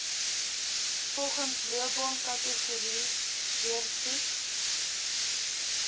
volgens loopbaankategorie deursoek